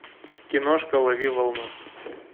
киношка лови волну